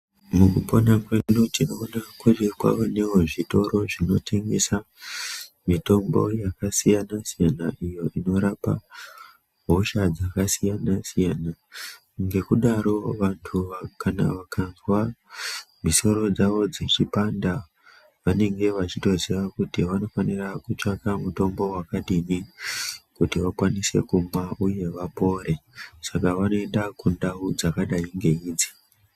Mukupona kwedu tinoona kuti kwaanevo zvitoro zvinotengesa mitombo yakasiyana-siyana, iyo inorapa hosha dzakasiyana-siyana. Ngekudaro vantu kana vakazwa misoro dzavo dzichipanda vanenge vachitoziya kuti vanofanira kutsvaka mutombo vakadini kuti vakwanise kumwa, uye vapore. Saka vanoenda kundau dzakadai ngeidzi.